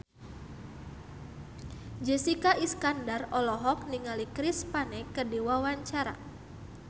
Jessica Iskandar olohok ningali Chris Pane keur diwawancara